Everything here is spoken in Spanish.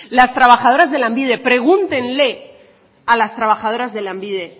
las trabajadoras de lanbide pregúntenle a las trabajadoras de lanbide